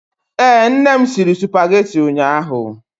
Ee, nne m siri supageti ụnyaahụ.